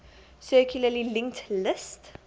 circularly linked list